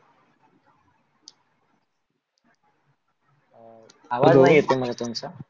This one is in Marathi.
आवाज नाही येत मला तुमचा.